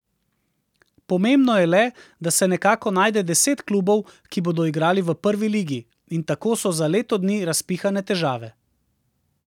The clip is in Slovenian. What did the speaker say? Pomembno je le, da se nekako najde deset klubov, ki bodo igrali v prvi ligi, in tako so za leto dni razpihane težave.